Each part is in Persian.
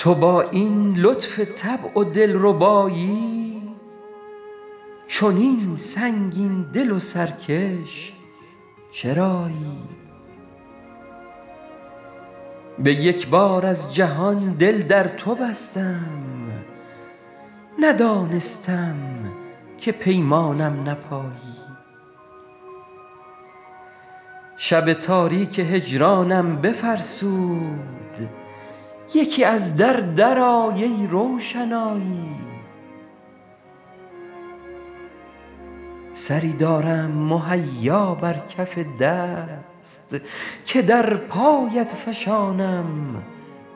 تو با این لطف طبع و دل ربایی چنین سنگین دل و سرکش چرایی به یک بار از جهان دل در تو بستم ندانستم که پیمانم نپایی شب تاریک هجرانم بفرسود یکی از در درآی ای روشنایی سری دارم مهیا بر کف دست که در پایت فشانم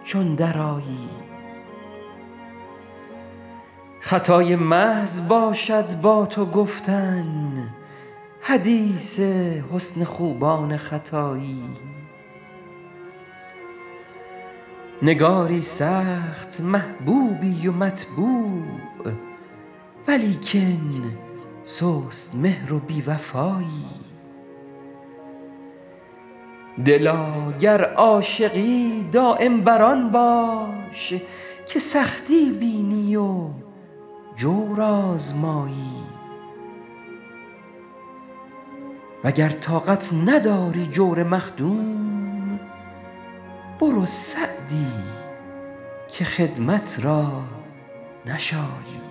چون درآیی خطای محض باشد با تو گفتن حدیث حسن خوبان ختایی نگاری سخت محبوبی و مطبوع ولیکن سست مهر و بی وفایی دلا گر عاشقی دایم بر آن باش که سختی بینی و جور آزمایی و گر طاقت نداری جور مخدوم برو سعدی که خدمت را نشایی